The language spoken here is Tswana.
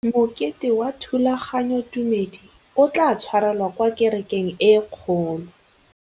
Mokete wa thulaganyôtumêdi o tla tshwarelwa kwa kerekeng e kgolo.